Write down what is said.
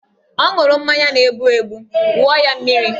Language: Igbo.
O ṅụrụ mmanya na-egbu egbu, wụọ ya mmiri!